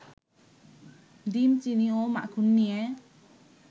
ডিম, চিনি ও মাখন নিয়ে